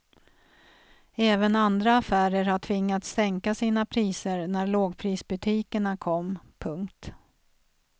Även andra affärer har tvingats sänka sina priser när lågprisbutikerna kom. punkt